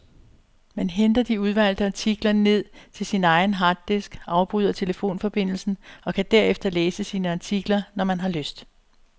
Man henter de udvalgte artikler ned til sin egen harddisk, afbryder telefonforbindelsen og kan derefter læse sine artikler, når man har lyst.